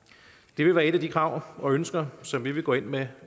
det vil være et af de krav og ønsker som vi vil gå ind med